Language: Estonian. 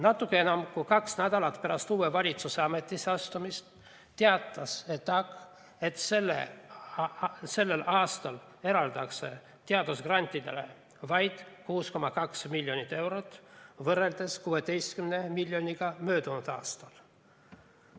Natuke enam kui kaks nädalat pärast uue valitsuse ametisse astumist teatas ETAg, et sellel aastal eraldatakse teadusgrantidele vaid 6,2 miljonit eurot võrreldes 16 miljoniga möödunud aastal.